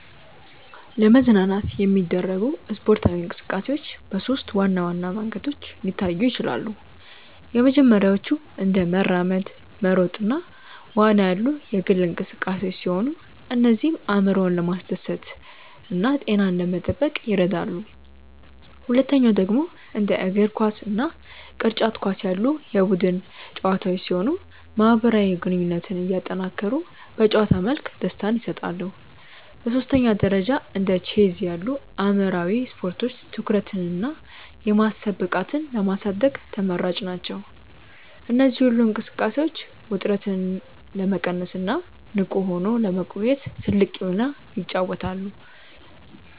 ለመዝናናት የሚደረጉ ስፖርታዊ እንቅስቃሴዎች በሦስት ዋና ዋና መንገዶች ሊታዩ ይችላሉ። የመጀመሪያዎቹ እንደ መራመድ፣ መሮጥ እና ዋና ያሉ የግል እንቅስቃሴዎች ሲሆኑ እነዚህም አእምሮን ለማደስና ጤናን ለመጠበቅ ይረዳሉ። ሁለተኛው ደግሞ እንደ እግር ኳስ እና ቅርጫት ኳስ ያሉ የቡድን ጨዋታዎች ሲሆኑ ማህበራዊ ግንኙነትን እያጠናከሩ በጨዋታ መልክ ደስታን ይሰጣሉ። በሦስተኛ ደረጃ እንደ ቼዝ ያሉ አእምሯዊ ስፖርቶች ትኩረትንና የማሰብ ብቃትን ለማሳደግ ተመራጭ ናቸው። እነዚህ ሁሉ እንቅስቃሴዎች ውጥረትን ለመቀነስና ንቁ ሆኖ ለመቆየት ትልቅ ሚና ይጫወታሉ።